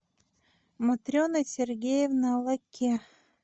матрена сергеевна лакке